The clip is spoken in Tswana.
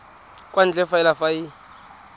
kwa ntle fela fa e